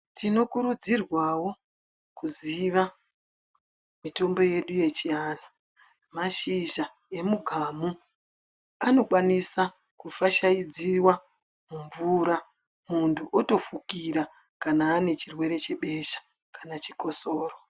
Tinokurudzirwawo kuziva mitombo yedu yechiantu. Mashizha emugamu anokwanisa kufashaidziwa mumvura muntu otofukira kana ane chirwere chebesha kana chikotsoro.